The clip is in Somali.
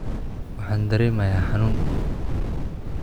Waxaan dareemayaa xanuun